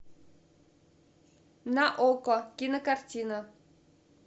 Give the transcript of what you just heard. на окко кинокартина